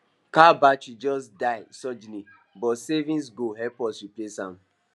car battery just die sudden but savings goal help us replace am